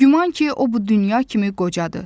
Güman ki, o bu dünya kimi qocadır.